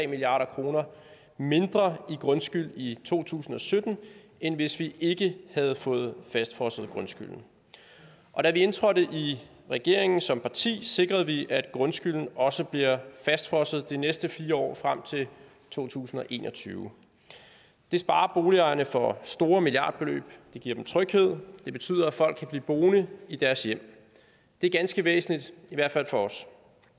milliard kroner mindre i grundskyld i to tusind og sytten end hvis vi ikke havde fået fastfrosset grundskylden og da vi indtrådte i regeringen som parti sikrede vi at grundskylden også bliver fastfrosset de næste fire år frem til to tusind og en og tyve det sparer boligejerne for store milliardbeløb det giver dem tryghed det betyder at folk kan blive boende i deres hjem det er ganske væsentligt i hvert fald for os